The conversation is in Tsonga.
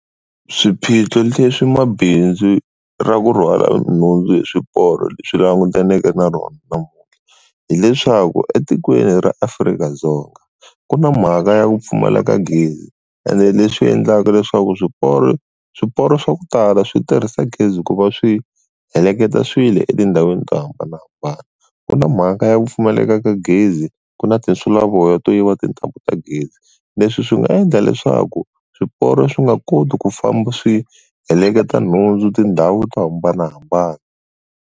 Swiphiqo leswi mabindzu ra ku rhwala nhundzu hi swiporo swi langutaneke na rona namuntlha, hileswaku etikweni ra Afrika-Dzonga ku na mhaka ya ku pfumaleka gezi ene leswi endlaka leswaku swiporo swiporo swa ku tala swi tirhisa gezi ku va swi heleketa swilo etindhawini to hambanahambana, ku na mhaka ya ku pfumaleka ka gezi, ku na tinsulavoya to yiva tintambu ta gezi. Leswi swi nga endla leswaku swiporo swi nga koti ku famba swi heleketa nhundzu tindhawu to hambanahambana.